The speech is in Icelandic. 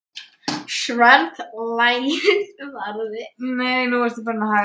Sverða lagið varði.